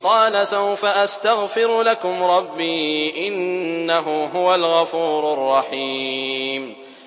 قَالَ سَوْفَ أَسْتَغْفِرُ لَكُمْ رَبِّي ۖ إِنَّهُ هُوَ الْغَفُورُ الرَّحِيمُ